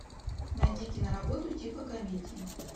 найди киноработу типа комедии